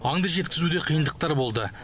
аңды жеткізуде қиындықтар болды